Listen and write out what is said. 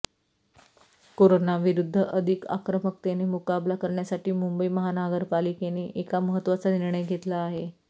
कोरोनाविरूद्ध अधिक आक्रमकतेने मुकाबला करण्यासाठी मुंबई महानगरपालिकेने एक महत्वाचा निर्णय घेतला आहे